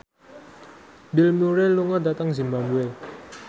Bill Murray lunga dhateng zimbabwe